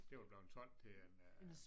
Det jo bleven solgt til en øh